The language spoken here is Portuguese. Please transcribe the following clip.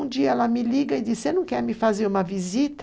Um dia ela me liga e diz, você não quer me fazer uma visita?